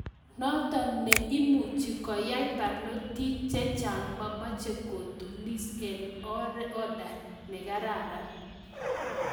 Notok ne imuchi kiai barnotik chechang mameche kotunis eng order ne kararan.